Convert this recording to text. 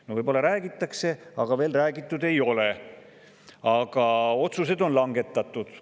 No võib-olla räägitakse, aga veel ei ole räägitud, aga otsused on langetatud.